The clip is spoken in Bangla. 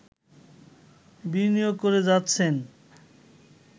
বিনিয়োগ করে যাচ্ছেন